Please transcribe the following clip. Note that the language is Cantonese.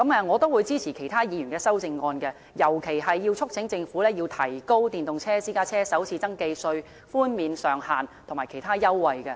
我會支持其他議員的修正案，尤其是促請政府提高電動私家車的首次登記稅寬減上限和其他優惠。